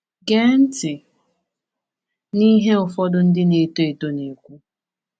Gee ntị n’ihe ụfọdụ ndị na-eto eto na-ekwu: